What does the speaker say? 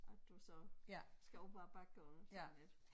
At du så skal op ad æ bakke og sådan lidt